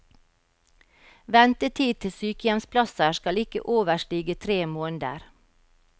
Ventetid til sykehjemsplasser skal ikke overstige tre måneder.